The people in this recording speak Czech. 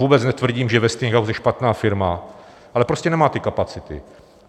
Vůbec netvrdím, že Westinghouse je špatná firma, ale prostě nemá ty kapacity.